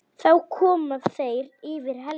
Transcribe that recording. Þá koma þeir yfir Helju.